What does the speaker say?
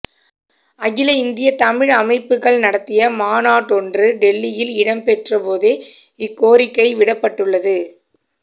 அகில இந்திய தமிழ் அமைப்புகள் நடத்திய மாநாடொன்று டில்லியில் இடம்பெற்ற போதே இக்கோரிக்கை விடப்பட்டுள்ளது